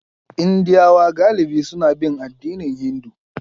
Indiyawa galibi suna bin addinin Hindu.